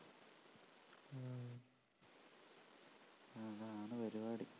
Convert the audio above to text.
അതാണ് പരിപാടി